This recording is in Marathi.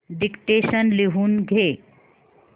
डिक्टेशन लिहून घे